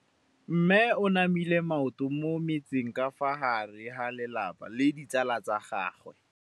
Mme o namile maoto mo mmetseng ka fa gare ga lelapa le ditsala tsa gagwe.